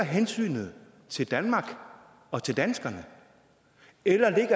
hensynet til danmark og til danskerne eller